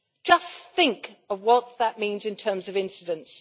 Just think of what that means in terms of incidence.